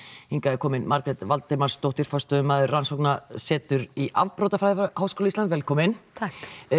hingað er komin Margrét Valdimarsdóttir forstöðumaður rannsóknarseturs í afbrotafræði við Háskóla Íslands velkomin takk